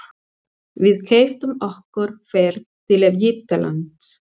Við keyptum okkur ferð til Egyptalands.